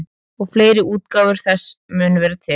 Og fleiri útgáfur þessa munu vera til.